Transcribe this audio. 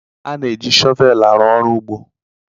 A na-eji shọvel arụ ọrụ ugbo.